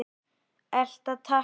Elta takk!